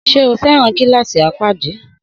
Sé o feran kilasi apadi?